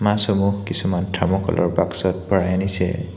মাছসমূহ কিছুমান থাৰ্মকলৰ বাক্সত ভৰাই আনিছে।